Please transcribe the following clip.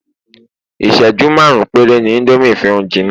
iṣẹju marun pere ni Indomie fi n jina